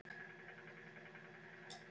Hvað vita þeir mikið? spurði Friðrik.